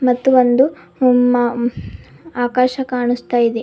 ಮತ್ತು ಒಂದು ಉಮ್ಮಾ ಆಕಾಶ ಕಾಣಿಸ್ತಾ ಇದೆ.